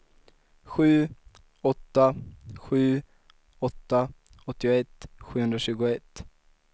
sju åtta sju åtta åttioett sjuhundratjugoett